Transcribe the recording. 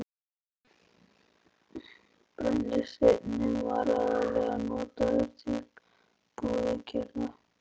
Brennisteinninn var aðallega notaður til púðurgerðar.